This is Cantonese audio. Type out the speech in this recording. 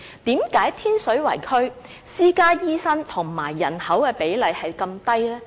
為甚麼天水圍區私家醫生與人口的比例是如此低呢？